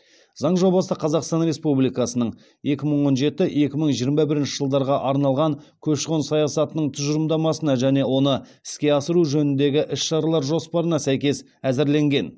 заң жобасы қазақстан республикасының екі мың он жеті екі мың жиырма бірінші жылдарға арналған көші қон саясатының тұжырымдамасына және оны іске асыру жөніндегі іс шаралар жоспарына сәйкес әзірленген